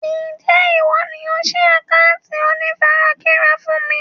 Ń jẹ́ ìwọ ni ó síí àkántì ìkànnì onífarakínra fún bí?